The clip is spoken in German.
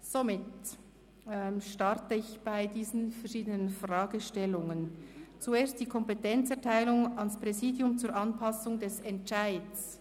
Somit starte ich mit den verschiedenen Fragestellungen, zuerst bezüglich der Kompetenzerteilung an das Präsidium zur Anpassung des Entscheids.